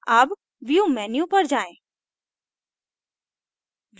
अब view menu पर जाएँ